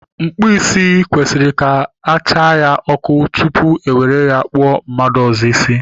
Mkpụ isi kwesịrị ka a chaa ya ọkụ tutu ewere ya kpụọ mmadụ ọzọ isi